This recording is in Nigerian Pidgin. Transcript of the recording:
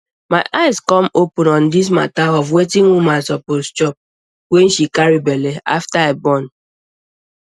my eye come open on dis mata of wetin woman suppose chop wen she carry belle after i born